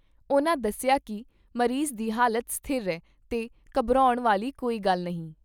ਉਨ੍ਹਾਂ ਦੱਸਿਆ ਕਿ ਮਰੀਜ਼ ਦੀ ਹਾਲਤ ਸਥਿਰ ਐ ਤੇ ਘਬਰਾਉਣ ਵਾਲੀ ਕੋਈ ਗੱਲ ਨਹੀਂ।